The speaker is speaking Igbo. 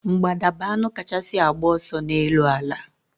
Mgbada bu anụ kachasị agba ọsọ n'elu ala